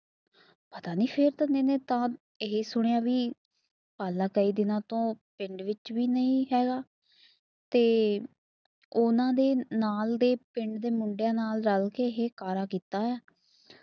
ਪਤਾ ਨੀ ਫੇਰ ਤਾਂ ਮੇਨੇ ਤਾਂ ਐ ਸੁਣਿਆ ਵੀ ਅਗਲਾ ਕਈ ਦਿਨਾਂ ਤੋਂ ਪਿੰਡ ਚ ਵੀ ਨਈ ਹੈਗਾ ਤੇ ਓਹਨਾ ਦੇ ਨਾਲ ਦੇ ਪਿੰਡ ਦੇ ਮੁੰਡਿਆਂ ਨਾਲ ਰਲਕੇ ਕਾਰਾ ਕੀਤਾ ਐ